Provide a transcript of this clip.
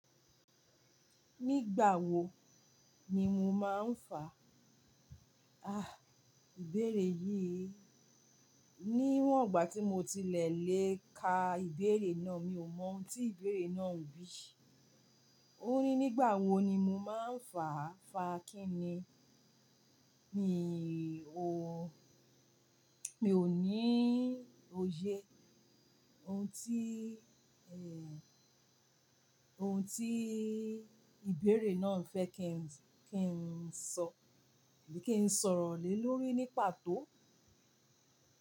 Nígbà wo ni mo máa ń fà? Ah, ìbéèrè yìí. Níwọ̀n ìgbà tí mo ti lè lè ka ìbéèrè náà, mi ò mọ ohun tí ìbéèrè náà ń bí. Ó ní nígbà wo ni mo máa ń fà. Fà kí ni? Mi ò, mi ò ní òye ohun tí, un, ohun tí ìbéèrè náà fẹ́ kí n, kí n sọ, kí n sọ̀rọ̀ lé lórí ní pàtó.